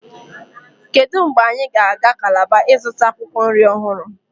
kedu mgbe anyị ga-aga Calabar ịzụta akwụkwọ nri ọhụrụ